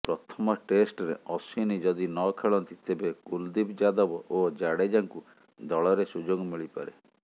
ପ୍ରଥମ ଟେଷ୍ଟରେ ଅଶ୍ୱିନ ଯଦି ନ ଖେଳନ୍ତି ତେବେ କୁଲଦୀପ ଯାଦବ ଓ ଜାଡ଼େଜାଙ୍କୁ ଦଳରେ ସୁଯୋଗ ମିଳିପାରେ